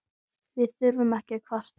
Við þurfum ekki að kvarta.